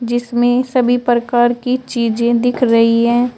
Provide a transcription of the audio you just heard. जिसमें सभी प्रकार की चीजें दिख रही है।